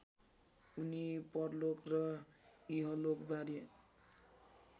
उनी परलोक र इहलोकबारे